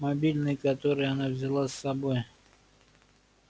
мобильный который она взяла с собой